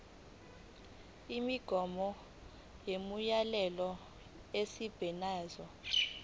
imigomo nemiyalelo esebenza